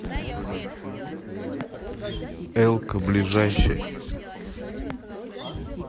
элко ближайший